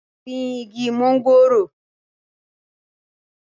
gbin igi mọ́ngòrò